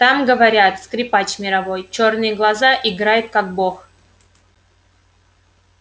там говорят скрипач мировой чёрные глаза играет как бог